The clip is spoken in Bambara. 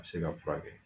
A bɛ se ka furakɛ